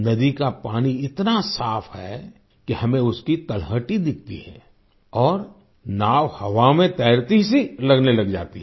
नदी का पानी इतना साफ़ है कि हमें उसकी तलहटी दिखती है और नाव हवा में तैरती सी लगने लग जाती है